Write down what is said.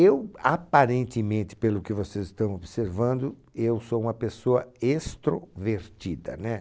Eu, aparentemente, pelo que vocês estão observando, eu sou uma pessoa extrovertida, né?